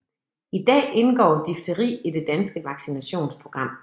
I dag indgår difteri i det danske vaccinationsprogram